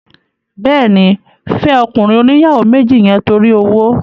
Bẹ́ẹ̀ni, fẹ́ ọkùnrin oníyàwó méjì yẹn torí owó